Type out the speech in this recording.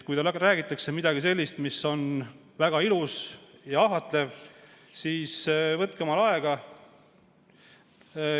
Kui teile räägitakse midagi sellist, mis on väga ilus ja ahvatlev, siis võtke endale aega.